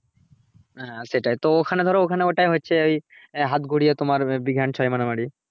হ্যাঁ সেটাই তো ওখানে ধরো ওটাই হচ্ছে ওই হাত ঘুরিয়ে তোমার big hand ছয় মারামারি